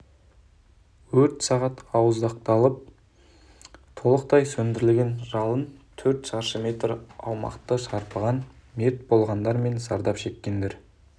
өрт сағат ауыздықталып толықтай сөндірілді жалын төрт шаршы метр аумақты шарпыған мерт болғандар мен зардап шеккендер